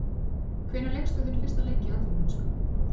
Hvenær lékstu þinn fyrsta leik í atvinnumennsku?